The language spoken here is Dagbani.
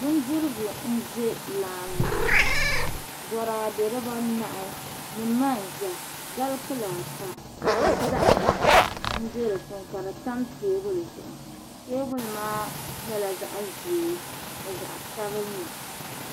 Bindirigu n ʒɛ laani ŋɔ boraadɛ diba nahi ni manʒɛ gali kpula ata ni zahm bɛ di puuni ka di tam teebulu maa zuɣu teebunli maa nyɛla zaɣ' ʒee ni zaɣ' sabinli